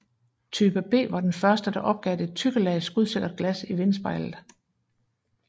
Type B var den første der opgav det tykke lag skudsikkert glas i vindspejlet